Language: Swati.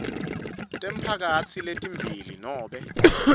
temphakatsi letimbili nobe